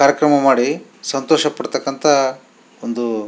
ಕಾರ್ಯಕ್ರಮ ಮಾಡಿ ಸಂತೋಷ ಪಡತಕ್ಕಂಥ ಒಂದು --